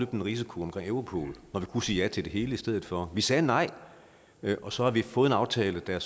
den risiko omkring europol når vi kunne sige ja til det hele i stedet for vi sagde nej og så har vi fået en aftale der